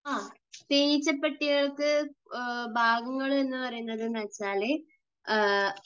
ആ. തേനീച്ചപ്പെട്ടികൾക്ക് ഭാഗങ്ങൾ എന്ന് പറയുന്നതെന്നുവെച്ചാൽ